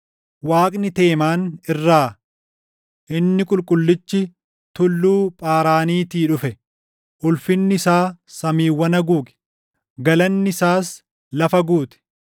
Waaqni Teemaan irraa, Inni Qulqullichi Tulluu Phaaraaniitii dhufe. Ulfinni isaa samiiwwan haguuge; galanni isaas lafa guute.